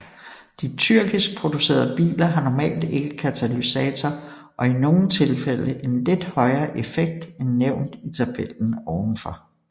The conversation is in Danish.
De tyrkiskproducerede biler har normalt ikke katalysator og i nogle tilfælde en lidt højere effekt end nævnt i tabellen ovenfor